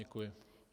Děkuji.